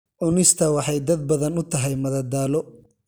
Cunista waxay dad badan u tahay madadaalo.